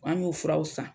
An y'o furaw san